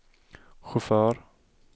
chaufför